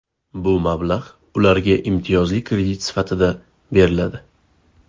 Bu mablag‘ ularga imtiyozli kredit sifatida beriladi.